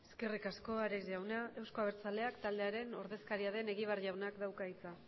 eskerrik asko ares jauna euzko abertzaleak taldearen ordezkaria den egibar jaunak dauka hitza